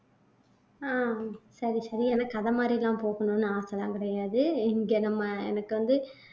ஆஹ் சரி சரி எனக்கு அத மாதிரி எல்லாம் போகணும்னு ஆசை எல்லாம் கிடையாது இங்க நம்ம எனக்கு வந்து